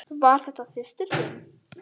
Var þetta systir þín?